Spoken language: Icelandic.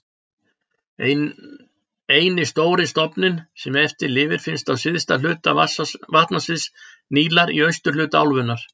Eini stóri stofninn sem eftir lifir finnst á syðsta hluta vatnasviðs Nílar í austurhluta álfunnar.